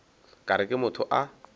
ka re ke motho a